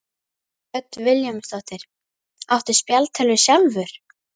Hödd Vilhjálmsdóttir: Áttu spjaldtölvu sjálfur?